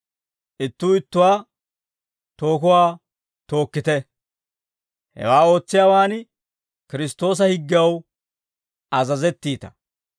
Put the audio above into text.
Ittuu ittuwaa tookuwaa tookkite; hewaa ootsiyaawaan Kiristtoosa higgew azazettiita.